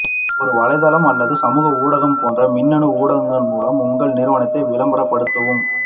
ஒரு வலைத்தளம் அல்லது சமூக ஊடகம் போன்ற மின்னணு ஊடகங்கள் மூலம் உங்கள் நிறுவனத்தை விளம்பரப்படுத்தவும்